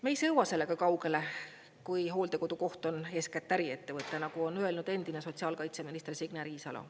Me ei sõua sellega kaugele, kui hooldekodukoht on eeskätt äriettevõte, nagu on öelnud endine sotsiaalkaitseminister Signe Riisalo.